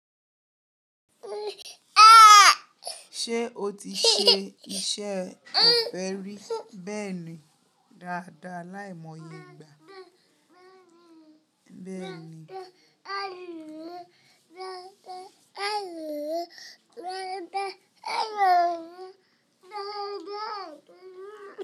Ṣé o ti ṣe iṣẹ́ ọ̀fẹ́ ri? Bẹ́ẹ̀ni dáadáa láìmọye ìgbà. Bẹ́ẹ̀ni.